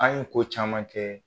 An ye ko caman kɛ